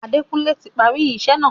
Adékunlé ti parí isẹ́ náà.